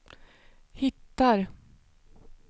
hittar